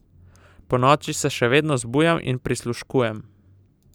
Ponoči se še vedno zbujam in prisluškujem.